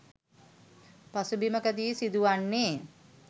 පසුබිමකදී සිදුවන්නේ